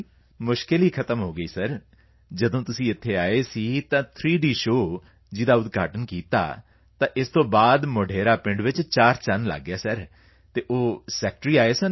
ਮੁਸ਼ਕਿਲ ਹੀ ਖ਼ਤਮ ਹੋ ਗਈ ਅਤੇ ਸਰ ਜਦੋਂ ਤੁਸੀਂ ਇੱਥੇ ਆਏ ਸੀ ਅਤੇ ਥ੍ਰੀਡੀ ਸ਼ੋਅ ਜਿਸ ਦਾ ਇੱਥੇ ਉਦਘਾਟਨ ਕੀਤਾ ਤਾਂ ਇਸ ਤੋਂ ਬਾਅਦ ਮੋਢੇਰਾ ਪਿੰਡ ਵਿੱਚ ਚਾਰਚੰਨ ਲਗ ਗਏ ਹਨ ਸਰ ਅਤੇ ਉਹ ਜੋ ਸੈਕਟਰੀ ਆਏ ਸਨ ਸਰ